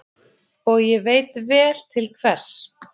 Og ég veit vel til hvers.